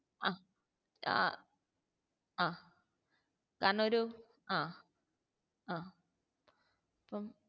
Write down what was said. ആ ആഹ് ആ കാരണം ഒരു ആ ആഹ്